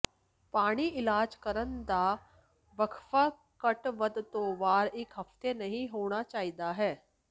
ਪਾਣੀ ਇਲਾਜ ਕਰਨ ਦਾ ਵਕਫਾ ਘੱਟ ਵੱਧ ਦੋ ਵਾਰ ਇੱਕ ਹਫ਼ਤੇ ਨਹੀ ਹੋਣਾ ਚਾਹੀਦਾ ਹੈ